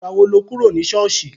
Ìgbà wo lo kúrò ní ṣọ́ọ̀ṣì?